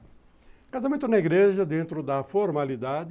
O casamento na igreja, dentro da formalidade,